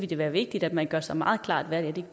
det være vigtigt at man gør sig meget klart hvad